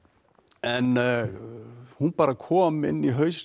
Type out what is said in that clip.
en hún bara kom inn í hausinn á